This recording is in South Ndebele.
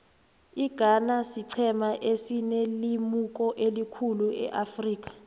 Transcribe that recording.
ighana siqhema esinelemuko elikhulu eafrika